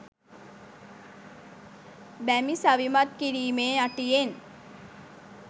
බැමි සවිමත් කිරීමේ අටියෙන්